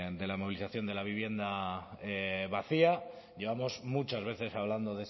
de la movilización de la vivienda vacía llevamos muchas veces hablando